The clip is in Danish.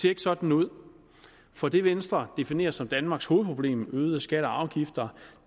ikke sådan ud for det venstre definerer som danmarks hovedproblem øgede skatter og afgifter